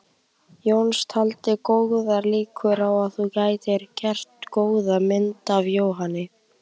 Jónas taldi góðar líkur á að þú gætir gert góða mynd af Jóhanni.